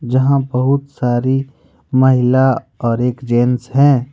जहां बहुत सारी महिला और एक जेंट्स है।